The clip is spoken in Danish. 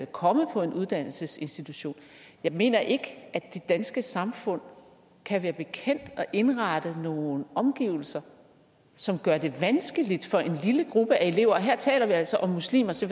komme på en uddannelsesinstitution jeg mener ikke at det danske samfund kan være bekendt at indrette nogle omgivelser som gør det vanskeligt for en lille gruppe af elever og her taler vi altså om muslimer så